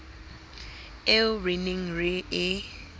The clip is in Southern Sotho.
eo re neng re e